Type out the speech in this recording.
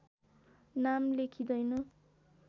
नाम लेखिँदैन